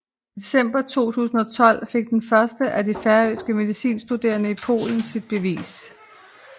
I december 2012 fik den første af de færøske medicinstuderende i Polen sit bevis